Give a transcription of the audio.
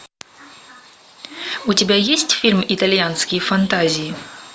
у тебя есть фильм итальянские фантазии